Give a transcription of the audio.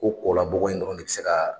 Ko kɔ labɔgɔ in dɔrɔn de bɛ se ka